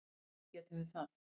Auðvitað getum við það.